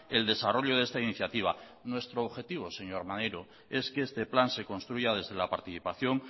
el desarrollo de esta iniciativa nuestro objetivo señor maneiro es que este plan se construya desde la participación